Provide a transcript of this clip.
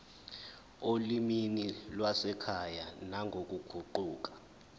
olimini lwasekhaya nangokuguquka